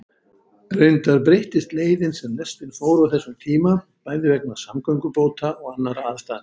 Reyndar breyttist leiðin sem lestin fór á þessum tíma, bæði vegna samgöngubóta og annarra aðstæðna.